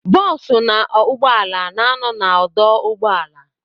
Bosu na ụgbọala na ano na odoo ụgbọala.